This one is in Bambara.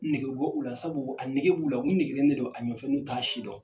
I nege bi bɔ u la . Sabu a nege b'u la ,u b'i nege a nɔfɛ n'u t'a si dɔn.